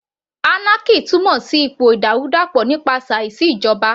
Anarchy túmọ̀ sí ipò ìdàrúdàpọ̀ nípasẹ̀ àìsí ìjọba